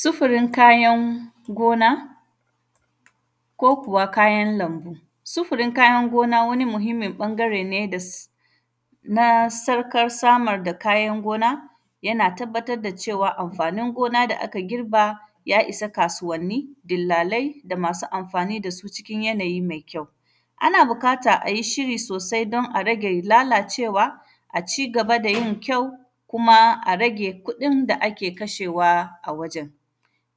Sufurin kayan gona, ko kuwa kayan lambu. Sufurin kayan gona, wani muhimmin ƃangare ne das; na sarkas samar da kayan gona, yana tabbatad da cewa amfanin gona da aka girba, ya isa kasuwanni, dillalai da amsu amfani da su cikin yanayi mai kyau. Ana bukata a yi shiri sosai don a rage lalacewa, a ci gaba da yin kyau, kuma a rage kuɗin da ake kashewa a wajen.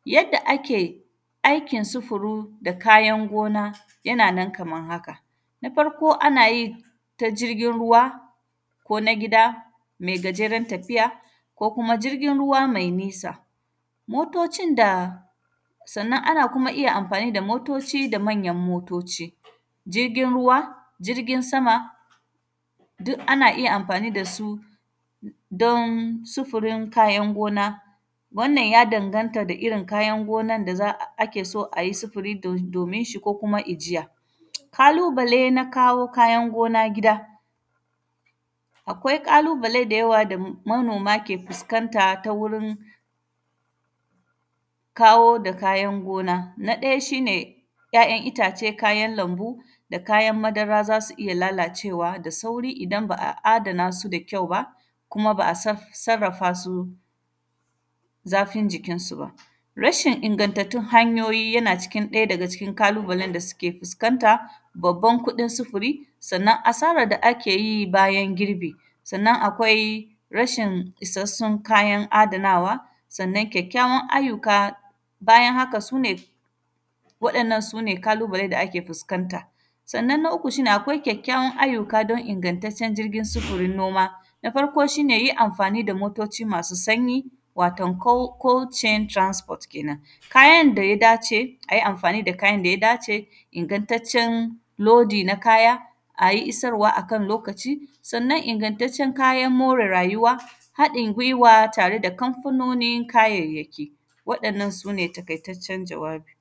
Yadda ake akin sufuru da kayan gona, yana nan kaman haka. Na farko, ana yi ta jirgin ruwa ko na gida me gajeran tafiya ko kuma jirgin ruwa mai nisa. Motocin da, sannan, ana kuma iya amfani da motoci da manyan motoci, jirgin ruwa, jirgin sama, du kana iya amfani da su, don sufurin kayan gona. Wannan, ya danganta da irin kayan gonan da za, a ke so a yi sufuri do; domin shi ko kuma ijiya. Kalubale na kawo kayan gona gida, akwai ƙalubale da yawa da m; manoma ke fuskanta ta wurin kawo da kayan gona. Na ɗaya, shi ne ‘ya’yan itace, kayan lambu, da kayan madara, za su iya lalacewa da sauri idan ba a adana su da kyau ba kuma ba a saf; sarrafa su zafin jikinsu ba. Rashin ingantattun hanyoyi, yana cikin ɗaya daga cikin kalubalen da sike fiskanta, babban kuɗin sifiri, sannan, asarar da ake yi bayan girbi. Sannan, akwai rashin isassun kayan adanawa, sannan, kyakkyawan ayyuka, bayan haka su ne, waɗannan, su ne kalubale da ake fuskanta. Sannan, na uku, shi ne akwai kyakkyawan ayyuka don ingantaccen jirgin sufirin noma. Na farko, shi ne yi amfani da motoci masu sanyi, waton “coal; coal chain transport” kenan. Kayan da ya dace, a yi amfani da kayan da ya dace, ingantaccen lodi na kaya, a yi isowa a kan lokaci. Sannan, ingantaccen kayan more rayuwa, haɗin gwiwa tare da kamfanonin kayayyaki. Waɗannan, su ne takaitaccen jawabi.